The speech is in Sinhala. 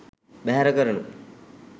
බැහැර කරනු